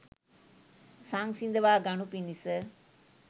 සංසිඳවා ගනු පිණිස